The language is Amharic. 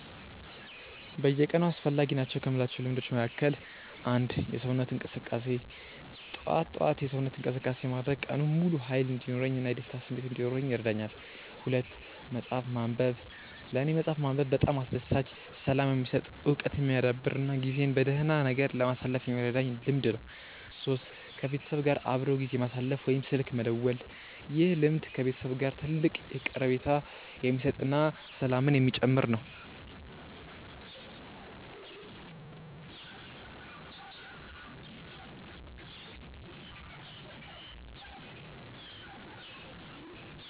በየቀኑ አስፈላጊ ናቸው ከምላቸው ልምዶች መካከል፦ 1. የሰውነት እንቅስቃሴ፦ ጠዋት ጠዋት የሰውነት እንቅስቃሴ ማድረግ ቀኑን ሙሉ ሃይል እንዲኖረኝ እና የደስታ ስሜት እንዲኖረኝ ይረዳኛል። 2. መፅሐፍ ማንበብ፦ ለኔ መፅሐፍ ማንበብ በጣም አስደሳች፣ ሰላም የሚሰጥ፣ እውቀት የሚያዳብር እና ጊዜን በደህና ነገር ለማሳለፍ የሚረዳኝ ልምድ ነው። 3. ከቤተሰብ ጋር አብሮ ጊዜ ማሳለፍ ወይም ስልክ መደወል፦ ይህ ልምድ ከቤተሰብ ጋር ትልቅ ቀረቤታ የሚሰጥ እና ሰላምን የሚጨምር ነው